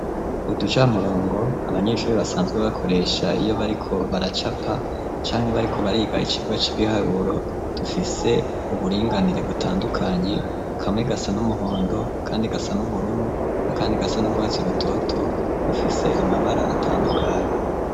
Uduca murongo abanyeshuri basanzwe bakoresha iyo bariko baracapa canke bariko barigaye ikirwa c'ibiharuro dufise uburinganire butandukanye kamwe gasa n'umuhondo, kandi gasa n'ubururu akandi gasa n'uguhatsi rutoto ufise amabara aratandukanye.